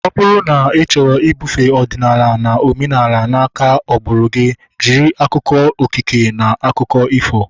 Ọ bụrụ na ị chọrọ ibufee ọdịnala na omenala na aka agbụrụ gị, jiri akụkọ okike na akụkọ ifo